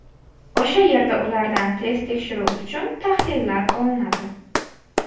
O‘sha yerda ulardan test tekshiruvi uchun tahlillar olinadi.